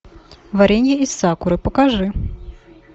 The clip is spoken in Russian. варенье из сакуры покажи